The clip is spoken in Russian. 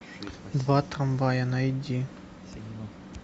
два трамвая найди